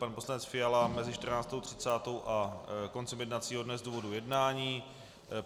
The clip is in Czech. Pan poslanec Fiala mezi 14.30 a koncem jednacího dne z důvodu jednání.